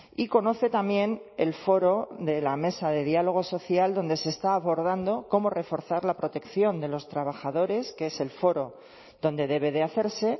y conoce también el foro de la mesa de diálogo social donde se está abordando cómo reforzar la protección de los trabajadores que es el foro donde debe de hacerse